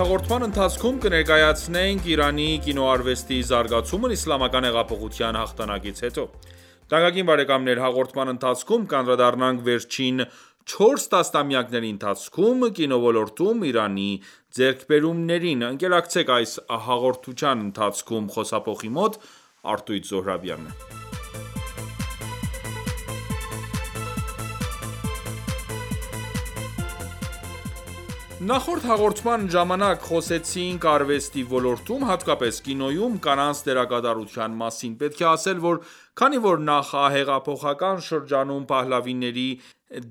հաղորդման ընթացքում կներկայացնենք Իրանի կիոնարվեստի զարգացումն իսլամական հեղափոխության հաղթանակից հետո: Թանկագին բարեկամններ, հաղորդման ընթացքում կանդրադառնանք վերջին 4 տասնամյակների ընթացքում կինոլորտում Իրանի ձեռքբերումներին: Նախորդ հաղորդման ժամանակ խոսեցինք արվեստի ոլորտում, հատկապես՝ կինոյում, կանանց դերակատարության մասին: Պետք է ասել, որ քանի որ նախահեղափոխական շրջանում, Փահլավիների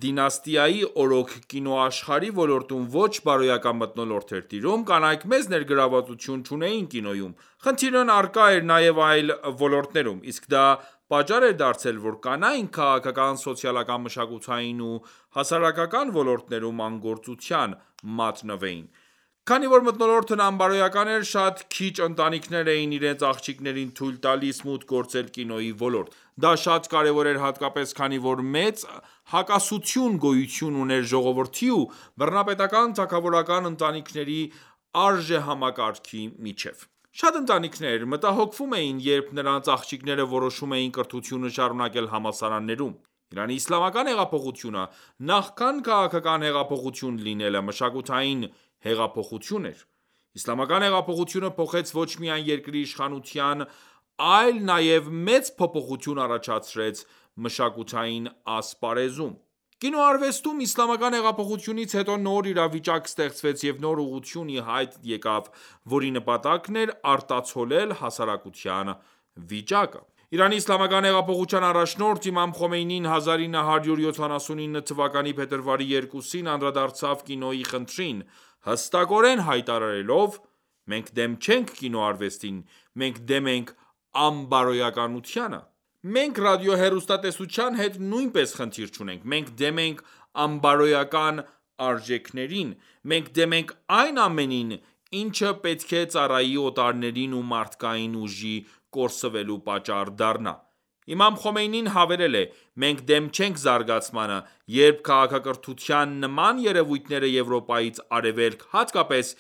դինաստիայի օրոք կինոաշխարհի ոլորտում ոչ բարոյական մթնոլորտ էր տիրում, կանայք մեծ ներգրավվածություն չունեին կինոյում: խնդիրն առկա էր նաև այլ ոլորտներում: Իսկ դա պատճառ էր դարձել, որ կանայք քաղաքական, սոցիալական, մշակութային ու հասարակական ոլորտներում անգործության մատնվեին: Քանի որ մթնոլորտն անբարոյական էր, շատ քիչ ընտանիքներ էին իրենց աղջիկներին թույլ տալիս մուտք գործել կինոյի ոլորտ: Դա շատ կարևոր էր հատկապես քանի որ մեծ հակասություն գոյություն ուներ ժողովրդի ու բռնապետական թագավորական ընտանիքի արժեհամակարգերի միջև: Շատ ընտանիքներ մտահոգվում էին, երբ նրանց աղջիկները որոշում էին կրթությունը շարունակել համալսարանում: Իրանի իսլամական հեղափոխությունը, նախքան քաղաքական հեղափոխություն լինելը, մշակութային հեղափոխություն էր: Իսլամական հեղափոխությունը փոխեց ոչ միայն երկրի իշխանությունն այլ նաև մեծ փոփոխություն առաջացրեց մշակութային ասպարեզում: Կինոարվեստում իսլամական հեղափոխությունից հետո նոր իրավիճակ ստեղծվեց և նոր ուղղություն ի հայտ եկավ, որի նպատակն էր արտացոլել հասարակության վիճակը: ԻԻՀ առաջնորդ իմամ Խոմնեյնին 1979թ փետրվարի 2-ին անդրադարձավ կինոյի խնդրին, հստակորեն հայտարարելով. «Մենք դեմ չենք կինոարվեստին: Մենք դեմ ենք անբարոյականությանը: Մենք ռադիոհեռուստատեսության հետ նույնպես խնդիր չունենք: Մենք դեմ ենք անբարոյական արժեքներին: Մենք դեմ ենք այն ամենին, ինչը պետք է ծառայի օտարներին ու մարդկային ուժի կորսվելու պատճառ դառնա»: Իմամ խոմեյնին հավելել է. «Մենք դեմ չենք զարգացմանը: Երբ քաղաքակրթության նման երևույթները Եվրոպայից Արևելք, հատկապես՝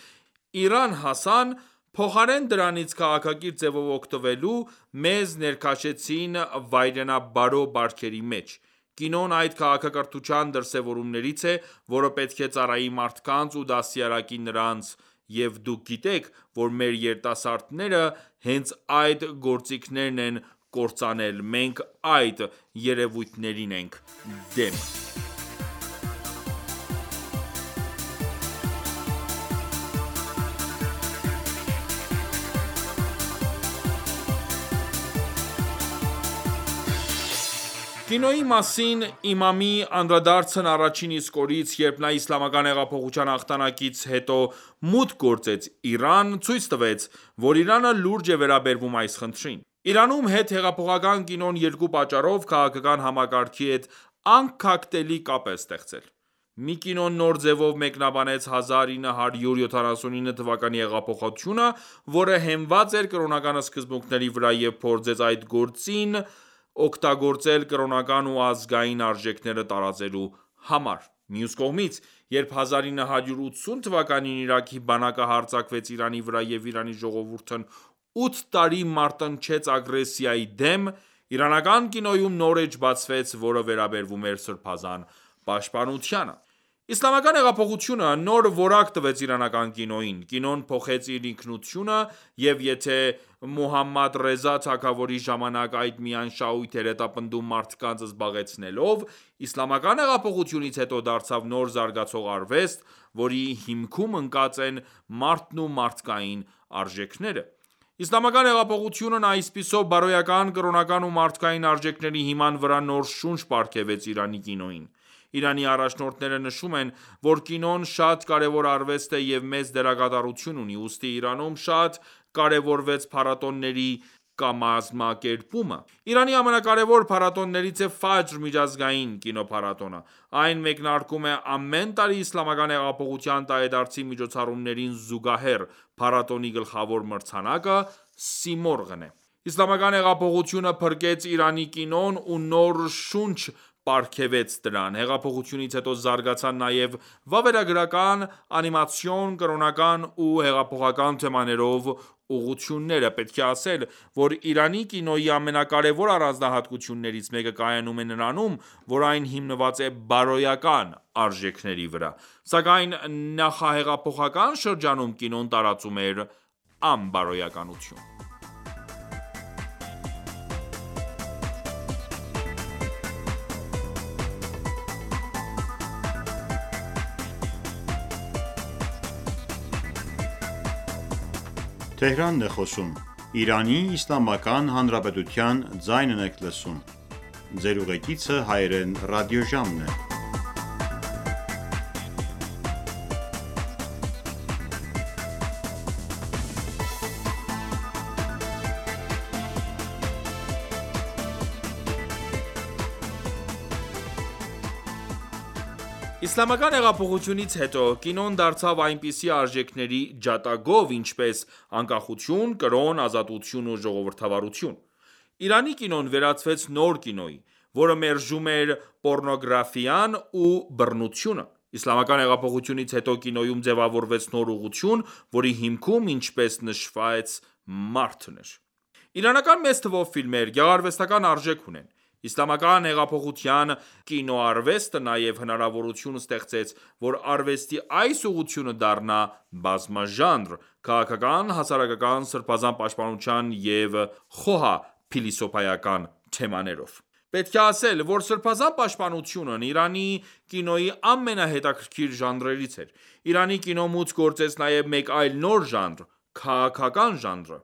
Իրան հասան, փոխարեն դրանից քաղաքակիրթ ձևով օգտվելու, մեզ ներքաշեցին վայրենաբարո բարքերի մեջ: Կինոն այդ քաղաքակրթության դրսևորումներից է, որը պետք է ծառայի մարդկանց ու դաստիարակի նրանց: Եվ դուք գիտեք, որ մեր երիտասարդները հենց այդ գործիքներն են կործանել: Մենք այդ երևույթներին ենք դեմ»: Կինոյի մասին իմամի անդրադարձն առաջին իսկ օրից, երբ նա իսլամական հեղափոխության հաղթանակից հետ մուտք գործեց Իրան, ցույց տվեց, որ Իրանը լուրջ է վերաբերվում այս խնդրին: Իրանում հետհեղափոխական կինոն երկու պատճառով քաղաքական համակարգի հետ անքակտելի կապ է ստեղծել: Մի կինոն նոր ձևով մեկնաբանեց 1979թ հեղափոխությունը, որը հենված էր կրոնական սկզբունքների վրա և փորձեց այդ գործիքն օգտագործել կրոնական ու ազգային արժեքները տարածելու համար: Մյուս կողմից, երբ 1980թ․ Իրաքի բանակը հարձակվեց Իրանի վրա և Իրանի ժողովուրդն ութ տարի մարտնչեց ագրեսիայի դեմ, իրանական կինոյում նոր էջ բացվեց, որը վերաբերում էր սրբազան պաշտպանությանը: Իսլամական հեղափոխությունը նոր որակ տվեց իրանական կինոյին: Կինոն փոխեց իր ինքնությունը և եթե Մուհամմադ Ռեզա թագավորի ժամանակ այն միայն շահույթ էր հետապնդում մարդկանց զբաղեցնելով, իսլամական հեղափոխությունից հետո դարձավ նոր զարգացող արվեստ, որի հիմքում ընկած են մարդն ու մարդկային արժեքները: Իսլամական հեղափոխությունն այսպիսով բարոյական, կրոնական ու մարդկային արժեքների հիման վրա նոր շունչ պարգևեց Իրանի կինոյին: Իրանի առաջնորդները նշում են, որ կինոն շատ կարևոր արվեստ է և մեծ դերակատարություն ունի: Ուստի Իրանում շատ կարևորվեց փառատոների կամակերպումը: Իրանի ամենակարևոր փառատոներից է «Ֆաջր» միջազգային կինոփառատոնը: Այն մեկնարկում է ամեն տարի Իսլամական հեղափոխության տարեդարձի միջոցառումներին զուգահեռ: Փառատոնի գլխավոր մրցանակը «Սիմորղ»-ն է: Իսլամական հեղափոխությունը փրկեց Իրանի կինոն ու նոր շունչ պարգևեց դրան: Հեղափոխությունից հետո զարգացան նաև վավերագարական, անիմացիոն, կրոնական ու հեղափոխական թեմաներով ուղղությունները: Պետք է ասել, որ Իրանի կինոյի ամենակարևոր առանձնահատկություններից մեկը կայանում է նրանում, որ այն հիմնված է բարոյական արժեքների վրա: Սակայն նախահեղափոխական շրջանում կինոն տարածում էր անբարոյականություն: Իսլամական հեղափոխությունից հետո կինոն դարձավ այնպիսի արժեքների ջատագով, ինչպես՝ անկախություն, կրոն, ազատություն ու ժողովրդավարություն: Իրանի կինոն վերածվեց նոր կինոյի, որը մերժում էր պոռնոգրաֆիան ու բռնությունը: Իսլամական հեղափոխությունից հետո, կինոյում ձևավորվեց նոր ուղղություն, որի հիմքում, ինչպես նշվեց, մարդն էր: Իրանական մեծ թվով ֆիլմեր գեղարվեստական արժեք ունեն: Իսլամական հեղափոխության կլինոարվեստը նաև հնարավորություն ստեղծեց, որ արվեստի այս ուղղությունը դառնա բազմաժանր՝ քաղաքական, հասարակական, սրբազան պաշտպանության և խոհափիլիսոփայական թեմաներով: Պետք է ասել, որ սրբազան պաշտպանությունն Իրանի կինոյի ամենահետաքրքիր ժանրերից էր: Իրանի կինո մուտք գործեց նաև մեկ այլ նոր ժանր՝ քաղաքական ժանրը,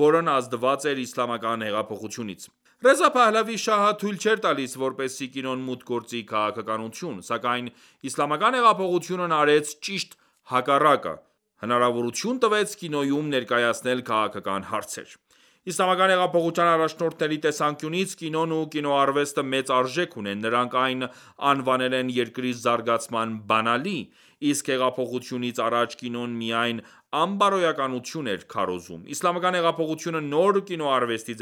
որն ազդված էր իսլամական հեղափոխությունից: Ռեզա Փահլավի շահը թույլ չէր տալիս, որպեսզի կինոն մուտք գործի քաղաքականություն: Սակայն իսլամական հեղափոխությունն արեց ճիշտ հակառակը՝ հնարավորություն տվեց կինոյում ներկայացնել քաղաքական հարցեր: Իսլամական հեղափոխության առաջնորդների տեսանկյունից, կինոն ու կիոնարվեստը մեծ արժեք ունեն: Նրանք այն անվանել են «երկրի զարգացման բանալի»: Իսկ հեղափոխությունից առաջ կինոն միայն անբարոյականություն էր քարոզում: Իսլամական հեղափոխությունը նոր կինոարվեստի ձևավորման գործում շատ մեծ դեր կատարեց: Մի խոսքով, կարելի է ասել, որ իսլամական հեղափոխությունը